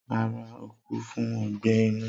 Rara, o ku fun ọgbẹ inu.